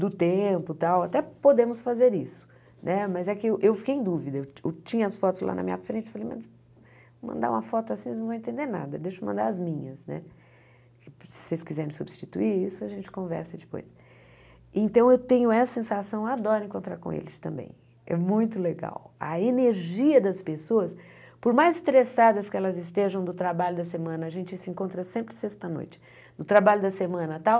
do tempo e tal até podemos fazer isso né mas é que eu fiquei em dúvida eu tinha as fotos lá na minha frente mas mandar uma foto assim vocês não vão entender nada deixa eu mandar as minhas né se vocês quiserem substituir isso a gente conversa depois então eu tenho essa sensação adoro encontrar com eles também é muito legal a energia das pessoas por mais estressadas que elas estejam do trabalho da semana a gente se encontra sempre sexta noite no trabalho da semana tal